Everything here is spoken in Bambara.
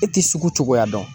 E ti sugu cogoya dɔn